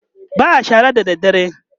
ba'a shara da dare